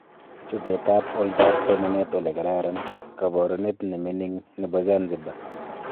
Chobetab oldoab somanet olekararan:Kabarunet neminik nebo Zanzibar